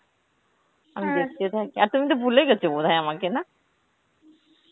আমি দেখতে থাকি, আর তুমি তো ভুলেই গেছো বোধহয় আমাকে না?